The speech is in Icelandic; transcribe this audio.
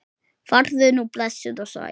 Farðu nú blessuð og sæl.